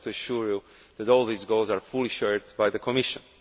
I would like to assure you that all these goals are fully shared by the Commission.